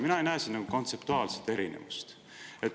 Mina ei näe siin kontseptuaalset erinevust.